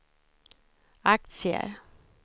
aktier